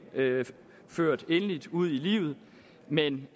ført endeligt ud i livet men